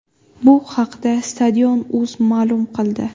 Bu haqda Stadion.uz ma’lum qildi .